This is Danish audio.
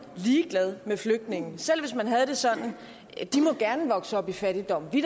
ligeglad med flygtningene selv hvis man havde det sådan at de gerne må vokse op i fattigdom at vi